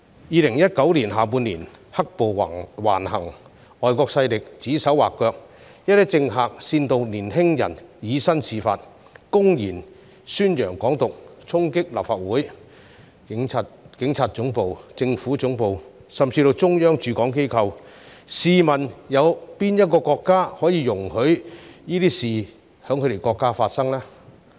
2019年下半年，"黑暴"橫行、外國勢力指手劃腳，一些政客煽動年輕人以身試法，公然宣揚"港獨"，衝擊立法會、警察總部、政府總部甚至是中央駐港機構，試問哪個國家會容許這些事情發生呢？